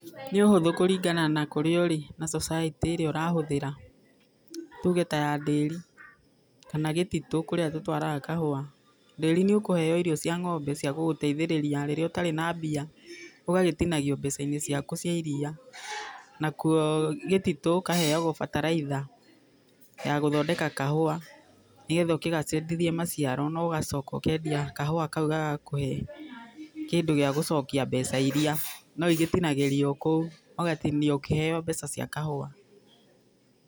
Nĩ ũhũthũ kũringana na kũrĩa ũrĩ na society ĩrĩa ũrahũthĩra. Tuge ta ya ndĩri kana gĩtitũ kũrĩa tũtwaraga kahũa. Ndĩri nĩ ũkũheo irio cĩa ng'ombe cĩa gũgũteithĩrĩria rĩrĩa ũtarĩ na mbia, ũgagĩtinagio mbeca-inĩ ciaku cĩa iria. Nakuo gĩtitũ ũkaheagwo fertelizer ya gũthondeka kahũa nĩgetha ũkĩgacĩrithie maciaro na ũgacoka ũkendia kahũa kau gagakũhe kĩndũ gĩa gũcokia mbeca iria, no igĩtinagĩrio kũu, ũgatinio ĩkĩheo mbeca cia kahũa.